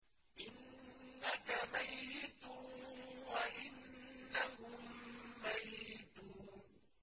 إِنَّكَ مَيِّتٌ وَإِنَّهُم مَّيِّتُونَ